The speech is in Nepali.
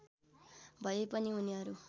भए पनि उनीहरू